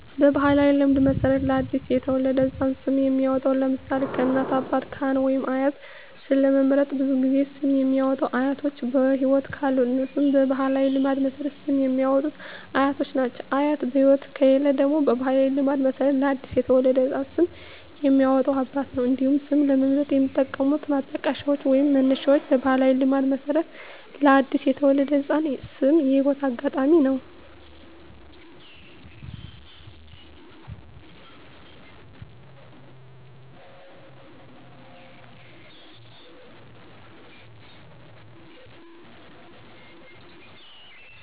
በባሕላዊ ልማድ መሠረት ለ አዲስ የተወለደ ሕፃን ስም የሚያወጣዉ (ለምሳሌ: ከእናት፣ አባት፣ ካህን ወይም አያት) ስም ለመምረጥ ብዙውን ጊዜ ስም የሚያወጡት አያቶች በህይወት ካሉ እነሱ በባህላዊ ልማድ መሠረት ስም የሚያወጡት አያቶች ናቸው። አያት በህይወት ከሌሉ ደግሞ በባህላዊ ልማድ መሠረት ለአዲስ የተወለደ ህፃን ስም የሚያወጣው አባት ነው። እንዲሁም ስም ለመምረጥ የሚጠቀሙት ማጣቀሻዎች ወይንም መነሻዎች በባህላዊ ልማድ መሠረት ለአዲስ የተወለደ ህፃን ስም የህይወት አጋጣሚ ነው።